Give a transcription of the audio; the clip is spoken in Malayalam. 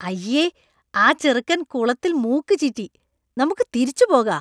അയ്യേ! ആ ചെറുക്കന്‍ കുളത്തിൽ മൂക്ക് ചീറ്റി. നമുക്ക് തിരിച്ചു പോകാ.